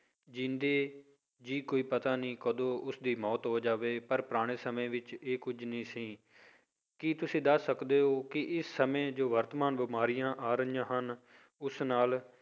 ਜ਼ਿੰਦੇ ਜੀਅ ਕੋਈ ਪਤਾ ਨੀ ਕਦੋਂ ਉਸਦੀ ਮੌਤ ਹੋ ਜਾਵੇ ਪਰ ਪੁਰਾਣੇ ਸਮੇਂ ਵਿੱਚ ਇਹ ਕੁੱਝ ਨਹੀਂ ਸੀ, ਕੀ ਤੁਸੀਂ ਦੱਸ ਸਕਦੇ ਹੋ ਕਿ ਇਸ ਸਮੇਂ ਜੋ ਵਰਤਮਾਨ ਬਿਮਾਰੀਆਂ ਆ ਰਹੀਆਂ ਹਨ ਉਸ ਨਾਲ